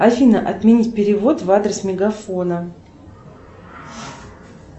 афина отменить перевод в адрес мегафона